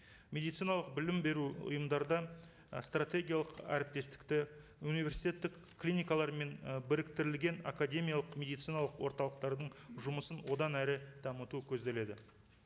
медициналық білім беру ұйымдарда і стратегиялық әріптестікті университеттік клиникалар мен і біріктірілген академиялық медициналық орталықтардың жұмысын одан әрі дамыту көзделеді